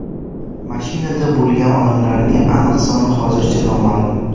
Mashinada bo‘lgan odamlarning aniq soni hozircha noma’lum.